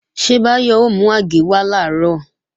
Ṣé Báyọ̀ ó mú àgé wá làárọ̀?